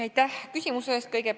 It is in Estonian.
Aitäh küsimuse eest!